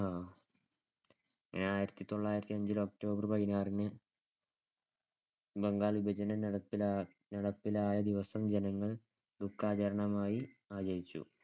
നടപ്പിലായ ദിവസം ജനങ്ങൾ ദുഃഖാചരണമായി ആചരിച്ചു.